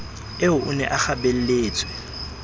eo o ne a kgabelletswe